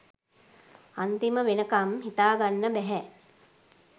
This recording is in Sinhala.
අන්තිම වෙනකම් හිතාගන්න බැහැ